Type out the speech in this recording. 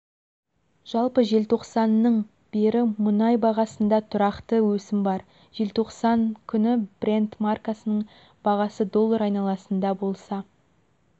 жалпы желтоқсанның бері мұнай бағасында тұрақты өсім бар желтоқсан күні брент маркасының бағасы доллар айналасында болса